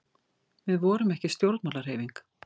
Við vorum ekki stjórnmálahreyfing.